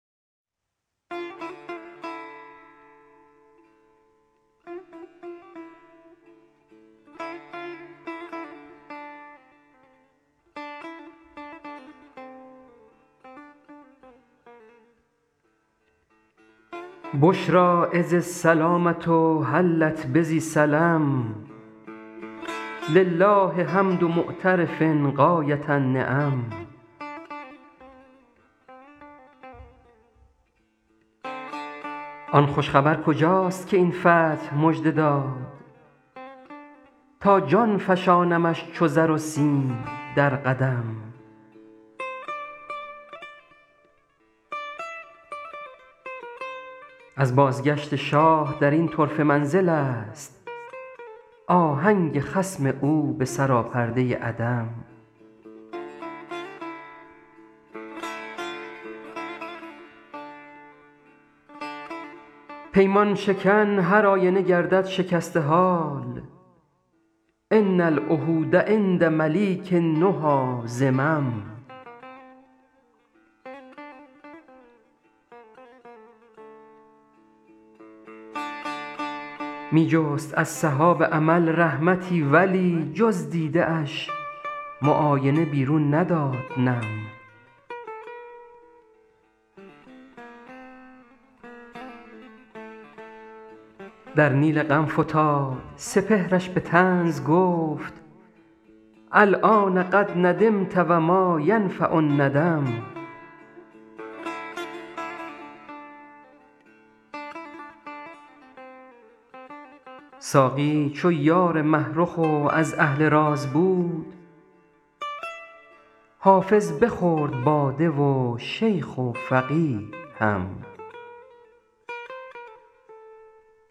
بشری اذ السلامة حلت بذی سلم لله حمد معترف غایة النعم آن خوش خبر کجاست که این فتح مژده داد تا جان فشانمش چو زر و سیم در قدم از بازگشت شاه در این طرفه منزل است آهنگ خصم او به سراپرده عدم پیمان شکن هرآینه گردد شکسته حال ان العهود عند ملیک النهی ذمم می جست از سحاب امل رحمتی ولی جز دیده اش معاینه بیرون نداد نم در نیل غم فتاد سپهرش به طنز گفت الآن قد ندمت و ما ینفع الندم ساقی چو یار مه رخ و از اهل راز بود حافظ بخورد باده و شیخ و فقیه هم